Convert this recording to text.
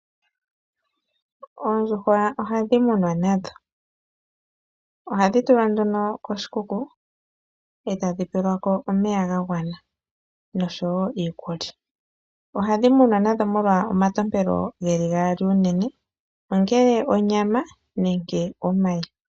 Oondjuhwa ohadhi munwa nadho. Ohadhi tulwa nduno koshikuku e tadhi pelwa ko omeya ga gwana nosho iikulya. Ohadhi munwa nadho molwa unene omatompelo ge li gaali; ongele onyama nenge omayi.